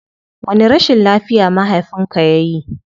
Wani rashin lafiya mahafinka yayi?